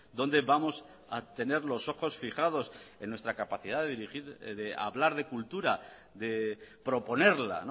donde vamos a tener los ojos fijados en nuestra capacidad de dirigir de hablar de cultura de proponerla